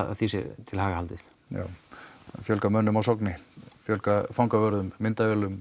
því sé til haga haldið já fjölga mönnum á Sogni fjölga fangavörðum myndavélum